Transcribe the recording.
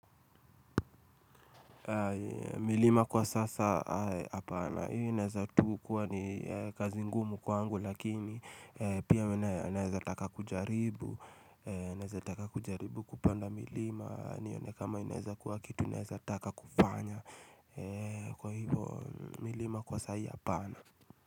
Milima kwa sasa apana ineza tukuwa ni kazi ngumu kwangu lakini pia inaezataka kujaribu naezataka kujaribu kupanda milima nione kama inaeza kuwa kitu taka kufanya kwa hivo milima kwa saa hii apana.